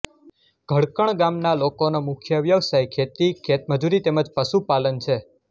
ઘડકણ ગામના લોકોનો મુખ્ય વ્યવસાય ખેતી ખેતમજૂરી તેમ જ પશુપાલન છે